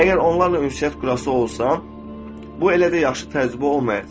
Əgər onlarla ünsiyyət qurası olsan, bu elə də yaxşı təcrübə olmayacaq.